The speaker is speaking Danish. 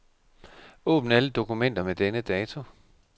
Åbn alle dokumenter med denne dato.